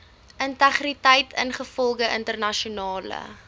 integriteit ingevolge internasionale